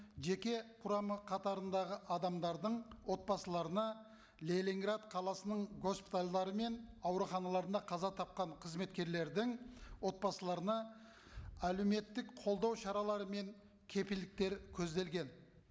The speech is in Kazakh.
жеке құрамы қатарындағы адамдардың отбасыларына ленинград қаласының госпитальдары мен ауруханаларында қаза тапқан қызметкерлердің отбасыларына әлеуметтік қолдау шаралары мен кепілдіктер көзделген